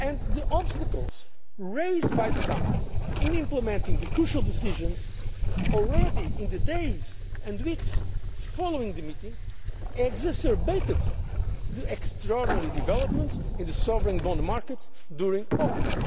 The obstacles raised by some in implementing the crucial decisions already in the days and weeks following the meeting exacerbated the extraordinary developments in the sovereign bond markets during August.